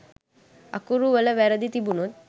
අකුරු වල වැරදි තිබුනොත්